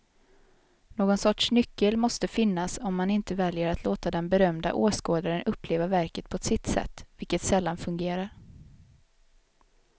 Någon sorts nyckel måste finnas om man inte väljer att låta den berömda åskådaren uppleva verket på sitt sätt, vilket sällan fungerar.